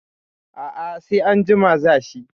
A a sai anjima za shi.